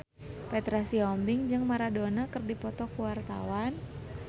Petra Sihombing jeung Maradona keur dipoto ku wartawan